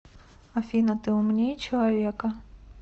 афина ты умнее человека